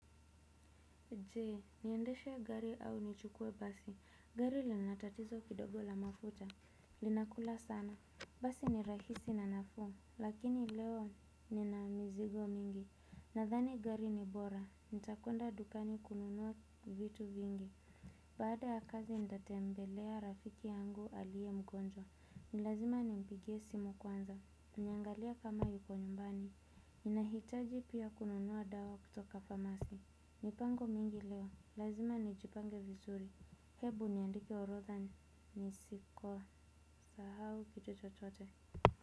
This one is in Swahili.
Je, niendeshe gari au nichukue basi, gari lina tatizo kidogo la mafuta, linakula sana. Basi ni rahisi na nafuu, lakini leo nina mizigo mingi. Nadhani gari ni bora, nitakwenda dukani kununua vitu vingi. Baada ya kazi nitatembelea rafiki yangu aliye mgonjwa. Ni lazima nimpigie simu kwanza, niangalie kama yuko nyumbani. Inahitaji pia kununua dawa kutoka famasi mipango mingi leo, lazima nijipange vizuri. Hebu niandike orodha, nisikosahau kitu chochote.